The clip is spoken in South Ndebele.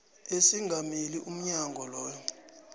esingamele umnyango loyo